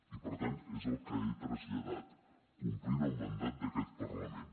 i per tant és el que he traslladat complint el mandat d’aquest parlament